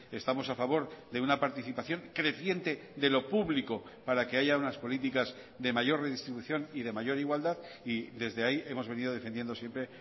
estamos a favor de una participación creciente de lo público para que haya unas políticas de mayor redistribución y de mayor igualdad y desde ahí hemos venido defendiendo siempre